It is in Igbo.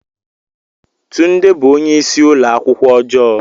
Tunde bụ onye isi ụlọ akwụkwọ ọjọọ.